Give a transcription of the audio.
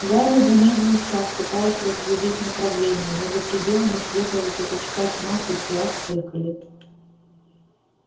гарри замедлил шаг пытаясь разглядеть направление но за пределами светлого пятачка тьма хоть глаз выколи